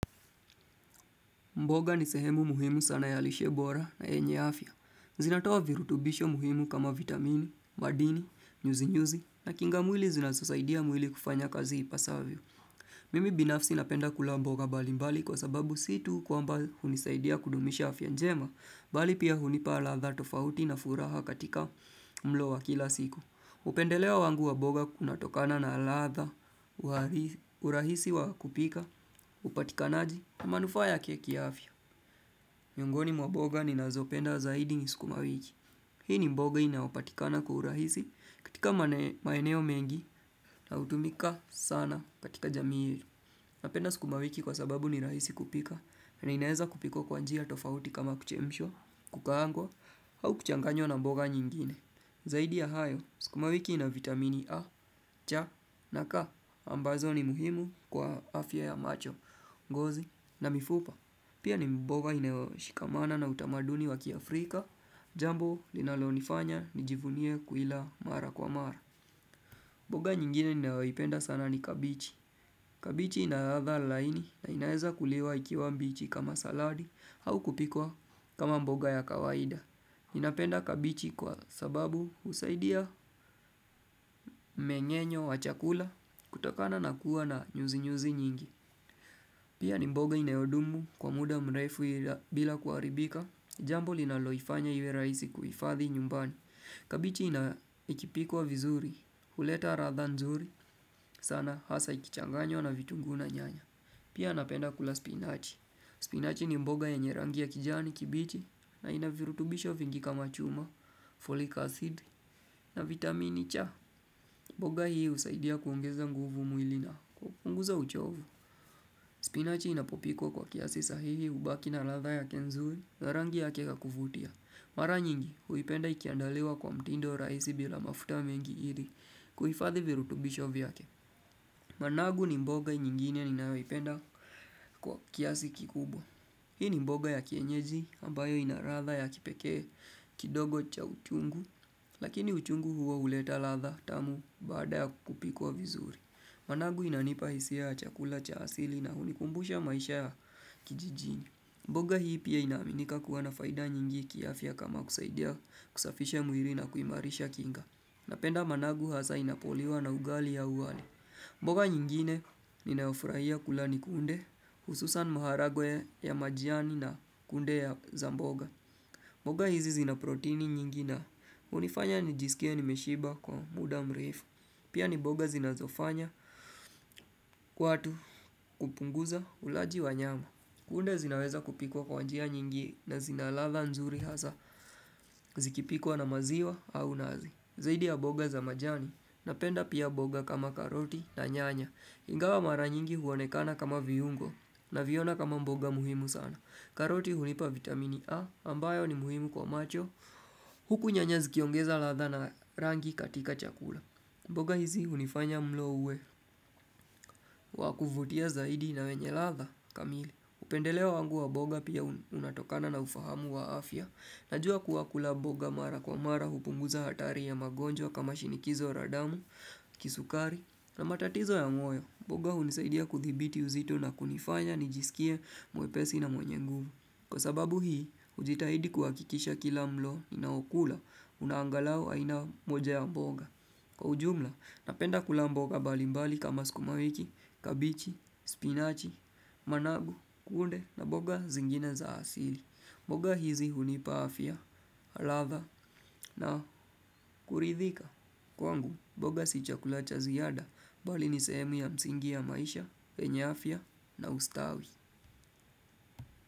Mboga ni sehemu muhimu sana ya lishe bora na yenye afya. Zinatoa virutubisho muhimu kama vitamini, madini, nyuzi-nyuzi na kinga mwili zinazosaidia mwili kufanya kazi ipasavyo. Mimi binafsi napenda kula mboga mbali mbali kwa sababu situ kwamba hunisaidia kudumisha afya njema, bali pia hunipa ladha tofauti na furaha katika mlo wa kila siku. Upendeleo wangu wamboga una tokana na latha, urahisi wa kupika, upatikanaji na manufa yake kiafya. Miongoni mwa mboga ni nazopenda zaidi ni sukuma wiki. Hii ni mboga inaupatikana kwa urahisi katika maeneo mengi na utumika sana katika jamii. Napenda sukuma wiki kwa sababu ni rahisi kupika na inawezwa kupikwa kwa njia tofauti kama kuchemshwa, kukangwa, au kuchanganywa na mboga nyingine. Zaidi ya hayo, skuma wiki ina vitamini A, cha na ka, ambazo ni muhimu kwa afya ya macho, ngozi na mifupa. Pia ni mboga ina shikamana na utamaduni waki Afrika, jambo linalonifanya nijivunie kuila mara kwa mara. Mboga nyingine ninayoipenda sana ni kabichi. Kabichi ina ladha laini na inaweza kuliwa ikiwa mbichi kama saladi au kupikwa kama mboga ya kawaida. Ninapenda kabichi kwa sababu usaidia mmengenyo wa chakula kutokana nakuwa na nyuzi nyuzi nyingi. Pia ni mboga inayodumu kwa muda mrefu bila kuaribika. Jambo linaloifanya iwe raisi kuifathi nyumbani. Kabichi ikipikwa vizuri, huleta latha nzuri, sana hasa ikichanganywa na vitunguu na nyanya Pia napenda kula spinachi, spinachi ni mboga ya nyerangi ya kijani kibichi na inavirutubisho vingi kama chuma, folic acid na vitamini cha mboga hii usaidia kuongeza nguvu mwilini na kunguza uchovu Spinachi inapopikwa kwa kiasi sahihi ubaki na ladha yake nzuri na rangi yake yakuvutia Mara nyingi huipenda ikiandaliwa kwa mtindo raisi bila mafuta mengi ili kuhifadhi virutubisho vyake. Managu ni mboga nyingine ninayo ipenda kwa kiasi kikubwa. Hii ni mboga ya kienyeji ambayo inaladha ya kipekee kidogo cha uchungu. Lakini uchungu huo huleta ladha tamu bada ya kupikwa vizuri. Managu inanipa hisia ya chakula cha asili na hunikumbusha maisha ya kijijini. Mboga hii pia inaminika kuwa na faida nyingi kiafia kama kusaidia kusafisha mwili na kuimarisha kinga. Napenda managu hasa inapoliwa na ugali au wali. Mboga nyingine ninayo furaia kula ni kunde hususani maharage ya majani na kunde za mboga. Mboga hizi zina protini nyingi na unifanya nijisikie nimeshiba kwa muda mrefu. Pia ni mboga zinazofanya watu kupunguza ulaji wa nyama. Kunde zinawezwa kupikwa kwanjia nyingi na zinaladha nzuri hasa, zikipikwa na maziwa au nazi. Zaidi ya mboga za majani, napenda pia mboga kama karoti na nyanya. Ingawa mara nyingi huonekana kama viungo na viona kama mboga muhimu sana. Karoti hunipa vitamini A, ambayo ni muhimu kwa macho, huku nyanya zikiongeza latha na rangi katika chakula. Mboga hizi unifanya mlo uwe, wakuvutia zaidi na wenye ladha kamili. Upendeleo wangu wa mboga pia unatokana na ufahamu wa afya. Najua kuwa kula mboga mara kwa mara hupunguza hatari ya magonjwa kama shinikizo la damu, kisukari na matatizo ya moyo. Mboga unisaidia kuthibiti uzito na kunifanya nijisikie mwepesi na mwenye guvu. Kwa sababu hii, ujitahidi kuwakikisha kila mlo ninao kula unangalau aina moja ya mboga. Kwa ujumla, napenda kula mboga balimbali kama skuma wiki, kabichi, spinachi, managu, kunde na mboga zingine za asili mboga hizi hunipa afya, ladha na kuridhika Kwangu, mboga si chakula cha ziada, bali nisehemu ya msingi ya maisha, yenye afya na ustawi.